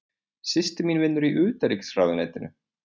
Systir mín vinnur í Utanríkisráðuneytinu.